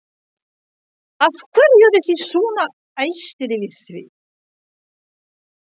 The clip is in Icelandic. Af hverju eru þið svona æstir yfir því?